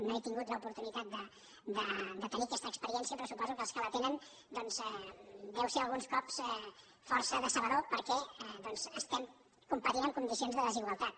no he tingut l’oportunitat de tenir aquesta experiència però suposo que els que la tenen doncs deu ser alguns cops força decebedora perquè estem competint en condicions de desigualtat